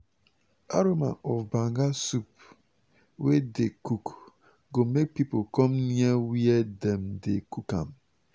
aroma of banga soup wey dey cook go make people come near where dem dey cook am.